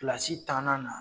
Kilasi tanna na